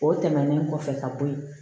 O tɛmɛnen kɔfɛ ka bɔ ye